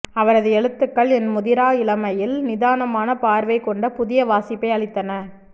அவரது எழுத்துக்கள் என் முதிரா இளமையில் நிதானமான பார்வைகொண்ட புதிய வாசிப்பை அளித்தன